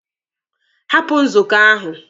Hapụ nzukọ ahụ!